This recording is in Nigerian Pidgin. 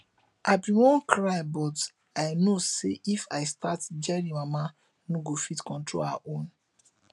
i bin wan cry but i know say if i start jerry mama no go fit control her own